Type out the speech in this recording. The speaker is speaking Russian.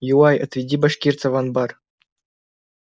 юлай отведи башкирца в анбар